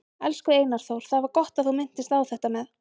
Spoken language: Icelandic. Elsku Einar Þór, það var gott að þú minntist á þetta með